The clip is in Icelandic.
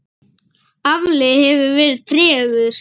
Afli hefur verið tregur.